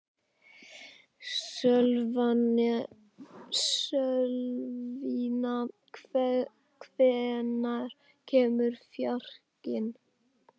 Sölvína, hvenær kemur fjarkinn?